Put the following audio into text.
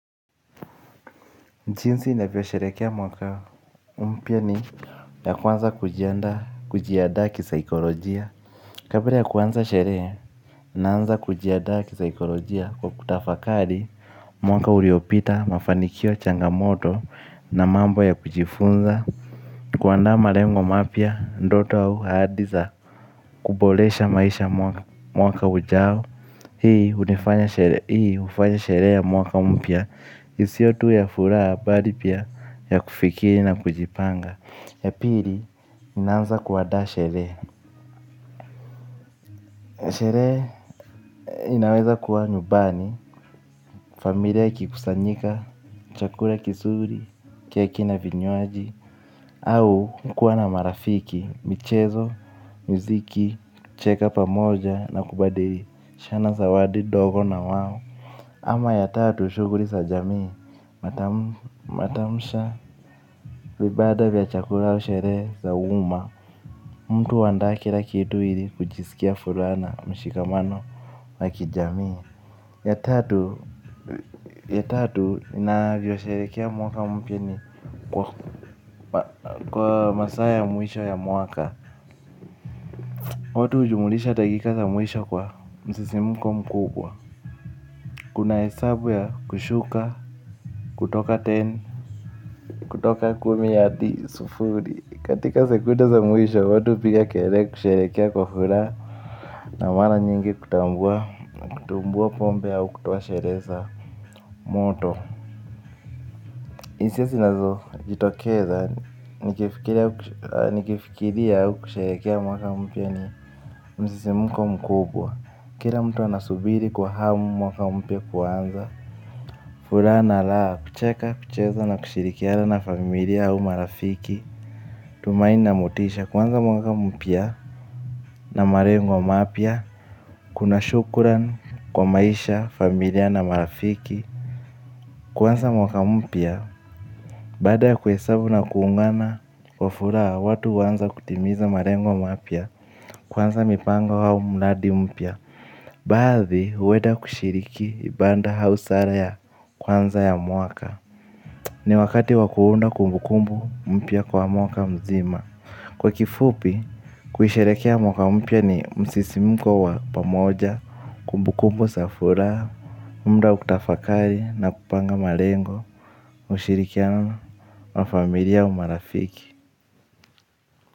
Jinsi navyo sherehekea mwaka umpya ni ya kwanza kujiandaa kujiadaa kisaikolojia. Kabla ya kuanza sherehe naanza kujiandaa kisaikolojia kwa kutafakari mwaka uliopita mafanikio changamoto na mambo ya kujifunza. Kuandaa malengo mapya ndoto au ahadi za kuboresha maisha mwaka ujao. Hii hufanya sherehe ya mwaka mpya isio tu ya furaha bali pia ya kufikiri na kujipanga. Ya pili nina anza kuandaa sherehe. Sherehe inaweza kuwa nyumbani familia ikikusanyika, chakula kizuri, kiwe kina vinywaji au kuwa na marafiki, michezo, miziki, cheka pamoja na kubadilishana zawadi ndogo na wao ama ya tatu shughuli sa jamii, matamsha vibanda vya chakula au sherehe za umma. Mtu huandaa kila kitu ili kujisikia furaha na mshikamano. La kijamii. Ya tatu ya tatu inavyo sherehekea mwaka mpya ni kwa kwa masaa ya mwisho ya mwaka. Watu hujumlisha dakika za mwisho kwa msisimko mkubwa. Kuna hesabu ya kushuka. Kutoka teni kutoka kumi hadi sufuri katika sekunde za mwisho watu piga kelele kusherehekea kwa furaha na mara nyingi kutambua kutumbua pombe au kutoa sherehe za moto hisia zinazo jitokeza nikifikiria au kusherehekea mwaka mpya ni msisimko mkubwa kila mtu anasubiri kwa hamu mwaka mpya kuanza. Furaha na raha kucheka, kucheza na kushirikiana na familia au marafiki. Tumaini na motisha kuanza mwaka mpya na malengo mapya. Kuna shukuran kwa maisha, familia na marafiki. Kwanza mwaka mpya. Baada ya kuhesabu na kuungana. Kwa furaha watu huanza kutimiza malengo mapya. Kwanza mipango au mradi mpya. Baadhi huenda kushiriki ibada au sala ya kwanza ya mwaka. Ni wakati wa kuunda kumbukumbu mpya kwa mwaka mzima. Kwa kifupi, kuisherehekea mwaka mpya ni msisimko wa pamoja. Kumbukumbu za furaha, muda wa kutafakari na kupanga malengo. Ushirikiano wa familia au marafiki.